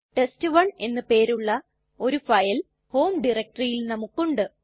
test one എന്ന് പേരുള്ള ഒരു ഫയൽ ഹോം ഡയറക്ടറിയിൽ നമുക്കുണ്ട്